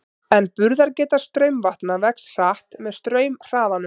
En burðargeta straumvatna vex hratt með straumhraðanum.